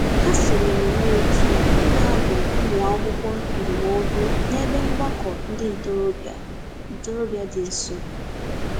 Ha sonyeere n'òtù ndị na-adụ ụmụakwụkwọ ndụmọdụ n'ebe mgbakọ ndị ntorobịa ntorobịa dị nso.